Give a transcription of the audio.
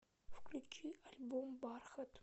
включи альбом бархат